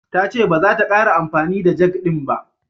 Ta ce baza ta ƙara amfani da jag ɗin ba.